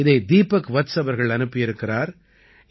இதை தீபக் வத்ஸ் அவர்கள் அனுப்பியிருக்கிறார்